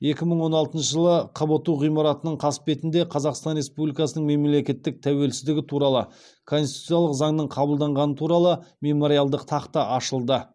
екі мың он алтыншы жылы қбту ғимаратының қасбетінде қазақстан республикасының мемлекеттік тәуелсіздігі туралы конституциялық заңның қабылданғаны туралы мемориалдық тақта ашылды